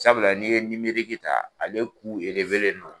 Sabula n'i ye ta ale don